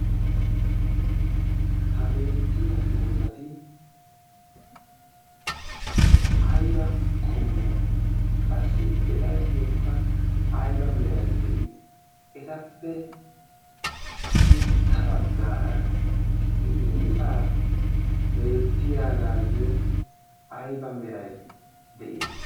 ha beettiya doozati aiba qommo? qassi etayyokka aiba merai de7ii? etappe sintta baggaara qiiba beettiyaagaayyo aiba merai de7ii?